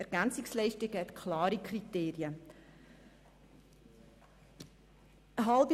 Die EL sind an klare Kriterien gebunden.